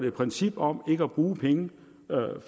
et princip om ikke at bruge penge